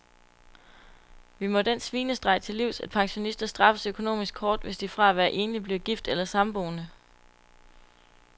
Vi må den svinestreg til livs, at pensionister straffes økonomisk hårdt, hvis de fra at være enlig bliver gift eller samboende.